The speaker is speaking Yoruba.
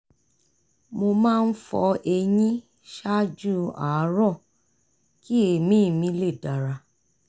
mo máa ń fọ eyín ṣáájú àárọ̀ kí èémí mi lè dára